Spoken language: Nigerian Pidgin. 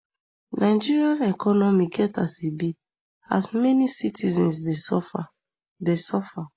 nigeria economy get as e be as many citizens dey suffer dey suffer